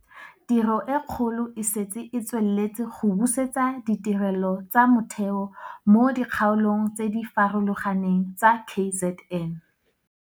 Tiro e kgolo e setse e tsweletse go busetsa ditirelo tsa motheo mo dikgaolong tse di farologaneng tsa KZN.